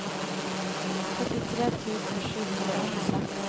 førtitre tusen sju hundre og åttiseks